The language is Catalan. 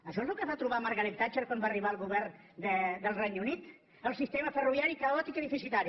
això és el que es va trobar margaret thatcher quan va arribar al govern del regne unit el sistema ferroviari caòtic i deficitari